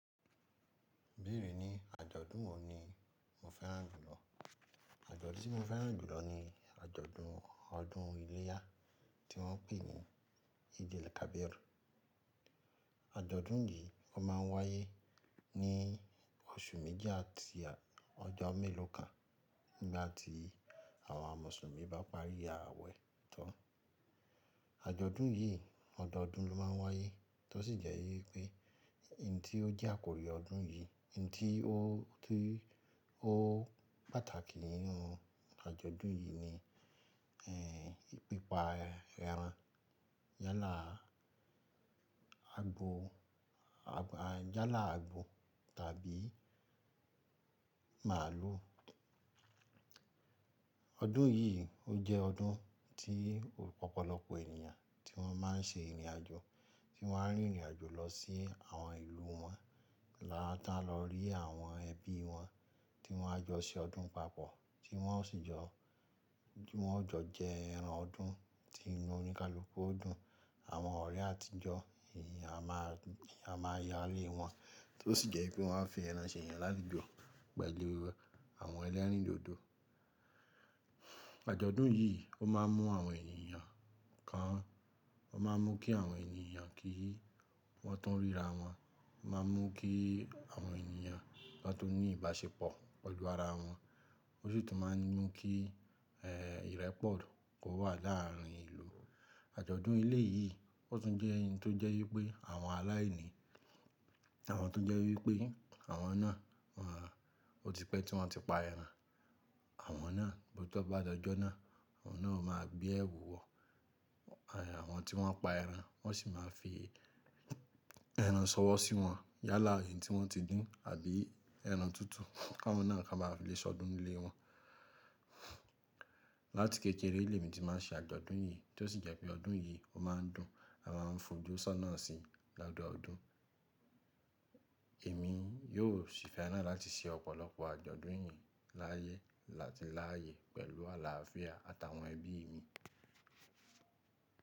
Ibeere ní àjọ̀dún wo ni mo fẹ́ràn jùlọ. Àjọ̀dún tí mo fẹ́ràn jùlọ ni àjọ̀dún ọdún iléyá tí wọ́n pè ní Eid el Kabir. Àjọ̀dún yìí ó má ń wáyé ní oṣù méjì àti ọjọ́ mẹ́lọ̀kán nígbà tí àwọn Mùsùlùmí bá parí ààwẹ̀ tọ. Àjọ̀dún yìí ọdọọdún ló má ń wáyé tó sì jẹ́ wípé ohun tó jẹ́ àkòrí ọdún yìí, ohun tó pàtàkì nínú àjọ̀dún yìí ni ìpípá ẹran yálà àgbo tàbí màlúù. Ọdún yìí ó jẹ́ ọdún tí ọ̀pọ̀lọpọ̀ ènìyàn tí wọ́n má ń ṣe ìrìnàjò, tí wọ́n má ń rìnrìnàjò lọ sí àwọn ìlú wọn, lá ta lọ rí àwọn ẹbí wọn tí wọ́n á jọ ṣe ọdún papọ̀, tí wọ́n ó jọ jẹ ẹran ọdún tí inú onikáluku oo dún. Àwọn ọ̀rẹ́ àtijọ́ ènìyàn a má ya ilé wọn tó sì jẹ́ wípé wọ́n á fi ẹran ṣe eeyàn lálejo pẹ̀lú àwọn ẹlẹ́rìndòdò. Àjọ̀dún yìí ó má ń mú àwọn ènìyàn kan, ó má ń mú kí àwọn ènìyàn kí wọ́n tun ríra wọn, ó má ń mú kí àwọn ènìyàn wọ́n tó ní ìbáṣepọ̀ pelú ara wọn. Ó sì tún má ń mú kí ìrẹ́pọ̀ kó wà láàrin ìlú. Àjọ̀dún eléyìí ó tún jẹ́ ẹni tó jẹ́ wípé àwọn aláìní, àwọn tó jẹ́ wípé àwọn náà ó ti pẹ́ tí wọ́n ti pa ẹran, àwọn náà bó tí wọ́n bá di ojọ́ naá, òun náà ó máa gbé ẹwu wọ àwọn tí wọ́n pa ẹran. Wọ́n sì máa fi ẹran ṣọwọ́ sí wọn yálà ẹni tí wọ́n ti dín àbí ẹran tútù káwọn náà ká má fi lè ṣọdún nilé wọn. Láti kékeré ni emi ti má ń ṣe àjọ̀dún yìí tó sì jẹ́ pé ọdún yìí ó má ń dùn. A má ń fojú sọ́nà sí lọ́dọọdún. Èmi yóò ṣì fẹ́ràn láti ṣe ọ̀pọ̀lọpọ̀ àjọ̀dún yìí láyé àti láàyè pẹ̀lú àlàáfíà àti àwọn ẹbí mi.